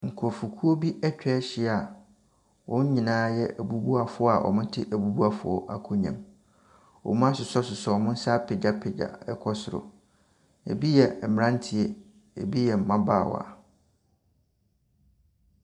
Nkurɔfokuo bi atwa ahyia a wɔn nyinaa yɛ abubuafoɔ a wɔte abubuafoɔ akonnwa mu. Wɔasɔsosɔ wɔn nsa apagyapagya kɔ soro. Ebi yɛ mmeranteɛ, ebi yɛ mmabaawa.